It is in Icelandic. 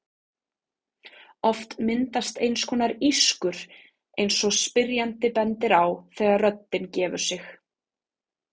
Oft myndast eins konar ískur eins og spyrjandi bendir á þegar röddin gefur sig.